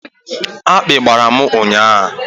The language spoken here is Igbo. Akpi gbara m ụnyahụ